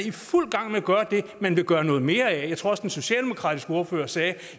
i fuld gang med at gøre det man vil gøre noget mere af jeg tror også den socialdemokratiske ordfører sagde